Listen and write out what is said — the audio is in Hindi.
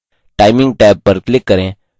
timing टैब पर click करें